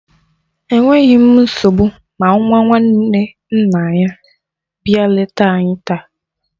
Enweghi m nsogbu ma nwa nwanne nna ya bịa leta anyi taa.